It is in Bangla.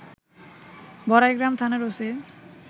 বড়াইগ্রাম থানার ওসি